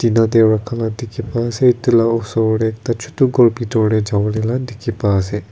yate rakha laa dekhi pa ase etu laa osor tey ekta chutu ghor bhitor tey jawole la dekhi pa ase.